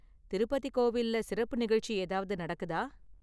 திருப்பதி கோவில்ல சிறப்பு நிகழ்ச்சி ஏதாவது நடக்குதா?